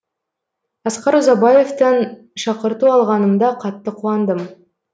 асқар ұзабаевтан шақырту алғанымда қатты қуандым